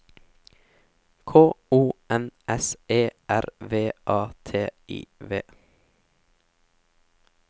K O N S E R V A T I V